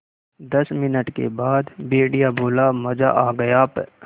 दस मिनट के बाद भेड़िया बोला मज़ा आ गया प्